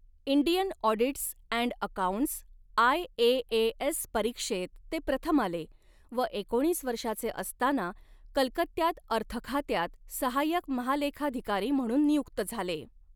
Indian audits and accounts IAAS परीक्षेत ते प्रथम आले व एकोणीस वर्षाचे असतांना कलकत्यात अर्थखात्यात सहाय्यक महालेखाधिकारी म्हणून नियुक्त झाले.